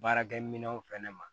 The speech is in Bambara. Baarakɛminɛnw fɛnɛ ma